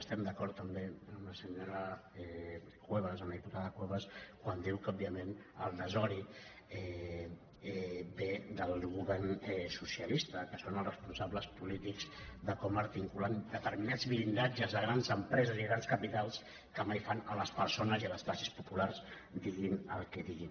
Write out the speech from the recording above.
estem d’acord també amb la senyora cuevas amb la diputada cuevas quan diu que òbviament el desori ve del govern socialista que són els responsables polítics de com articulen determinats blindatges de grans empreses i grans capitals que mai fan a les persones i a les classes populars diguin el que diguin